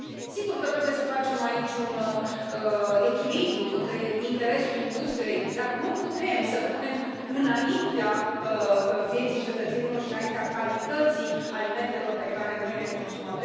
Sigur că trebuie să stabilim aici un echilibru cu interesul industriei, dar nu putem să l punem înaintea vieții cetățenilor și înaintea calității alimentelor pe care noi le consumăm.